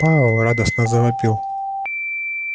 пауэлл радостно завопил